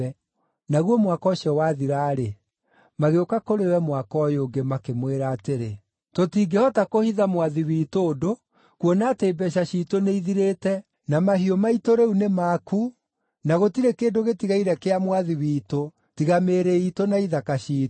Naguo mwaka ũcio wathira-rĩ, magĩũka kũrĩ we mwaka ũyũ ũngĩ, makĩmwĩra atĩrĩ, “Tũtingĩhota kũhitha mwathi witũ ũndũ, kuona atĩ mbeeca ciitũ nĩithirĩte, na mahiũ maitũ rĩu nĩ maku, na gũtirĩ kĩndũ gĩtigaire kĩa mwathi witũ tiga mĩĩrĩ iitũ na ithaka ciitũ.